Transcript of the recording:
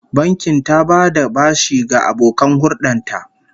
The bank gives loans to their preferred customers